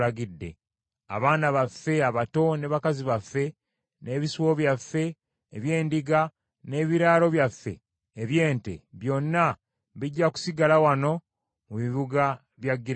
Abaana baffe abato ne bakazi baffe, n’ebisibo byaffe eby’endiga n’ebiraalo byaffe eby’ente byonna bijja kusigala wano mu bibuga bya Gireyaadi.